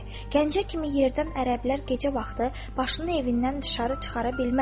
Gəncə kimi yerdən ərəblər gecə vaxtı başını evindən dışarı çıxara bilməz.